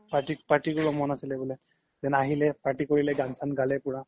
party কৰিব মন আছিলে বুলে then আহিলে party কৰিলে গান চান গালে পুৰা